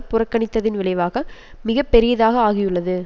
புறக்கணித்ததின் விளைவாக மிக பெரியதாக ஆகியுள்ளது